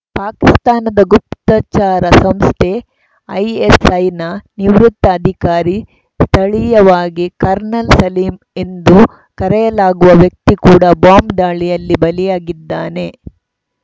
ಪಾಕಿಸ್ತಾನದ ಗುಪ್ತಚರ ಸಂಸ್ಥೆ ಐಎಸ್‌ಐನ ನಿವೃತ್ತ ಅಧಿಕಾರಿ ಸ್ಥಳೀಯವಾಗಿ ಕರ್ನಲ್‌ ಸಲೀಂ ಎಂದು ಕರೆಯಲಾಗುವ ವ್ಯಕ್ತಿ ಕೂಡ ಬಾಂಬ್‌ ದಾಳಿಯಲ್ಲಿ ಬಲಿಯಾಗಿದ್ದಾನೆ